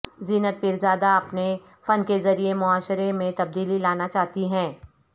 زینت پیرزادہ اپنے فن کے ذریعے معاشرے میں تبدیلی لانا چاہتی ہیں